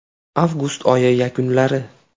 Avgust oyi yakunlari.